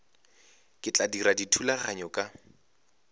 ke tla dira dithulaganyo ka